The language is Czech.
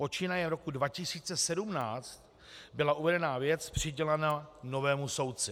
Počínaje rokem 2017 byla uvedená věc přidělena novému soudci.